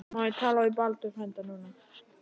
Má ég tala við Baldur frænda núna?